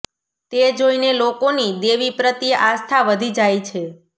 તે જોઈને લોકોની દેવી પ્રત્યે આસ્થા વધી જાય છે